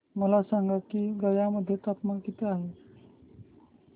मला सांगा की गया मध्ये तापमान किती आहे